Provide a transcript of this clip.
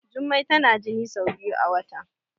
Jummai tana jini sai biyu a wata